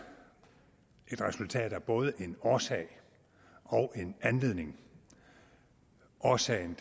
et resultat af både en årsag og en anledning årsagen